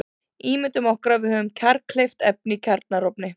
Ímyndum okkur að við höfum kjarnkleyft efni í kjarnaofni.